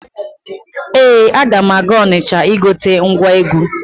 Ee, aga m aga Ọnịcha igote ngwa egwu.